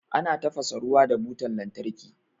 Ana tafasa ruwa da butan lantarki.